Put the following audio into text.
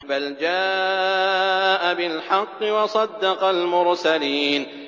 بَلْ جَاءَ بِالْحَقِّ وَصَدَّقَ الْمُرْسَلِينَ